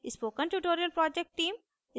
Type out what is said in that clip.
spoken tutorial project team: